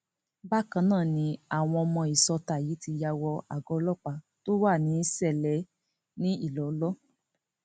bákan náà ni wọn ní àwọn ọmọ ìsọta yìí ti ya wọ àgọ ọlọpàá tó wà ní ṣẹlẹ ní ilọlọ